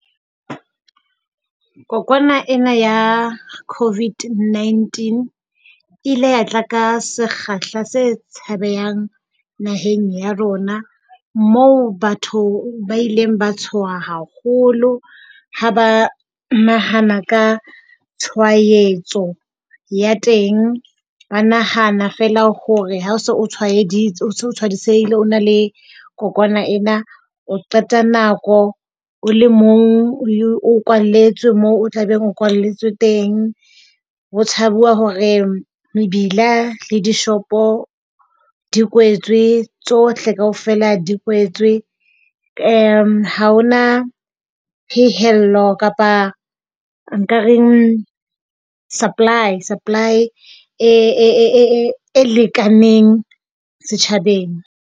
Kokwana ena ya COVID-19 e ile ya tla ka sekgahla se tshabehang naheng ya rona moo batho ba ileng ba tshoha haholo ha ba nahana ka tshwaetso ya teng. Ba nahana fela hore ha se o tshwaetsehile, o na le kokwana ena, o qeta nako o le mong. O kwalletswe moo o tlabe o kwalletswe teng. Ho tshajuwa hore mebila le dishopo di kwetswe, tsohle kaofela di kwetswe. Ha hona phehello kapa nka reng? Supply, supply e lekaneng setjhabeng.